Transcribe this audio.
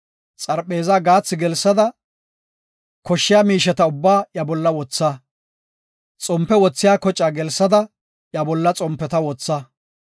Xarpheezaa gaathi gelsada, koshshiya miisheta ubbaa iya bolla wotha. Xompe wothiya kocaa gelsada iya bolla xompeta wotha.